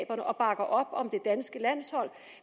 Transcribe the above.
og bakker op om det danske landshold